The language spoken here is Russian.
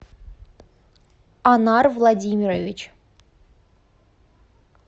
анар владимирович